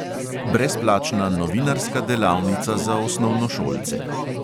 Brezplačna novinarska delavnica za osnovnošolce.